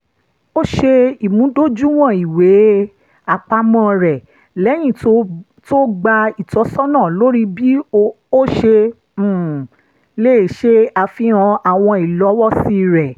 ó ṣe ìmúdójúìwọ̀n ìwé-àpamọ́ rẹ̀ lẹ́yìn tó gba ìtọ́sọ́nà lórí bí ó ṣe um lè ṣe àfihàn àwọn ìlọ́wọ́sí rẹ̀